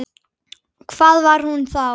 Hvað var hún þá?